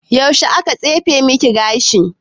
Yaushe aka tsefe maki gashi?